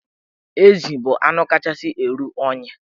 Ezi bụ anụ kachasị eru unyi.